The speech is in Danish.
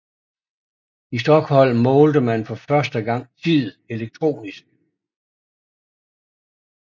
I Stockholm målte man for første gang tid elektronisk